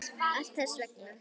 Allt þess vegna.